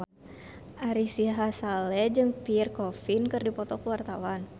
Ari Sihasale jeung Pierre Coffin keur dipoto ku wartawan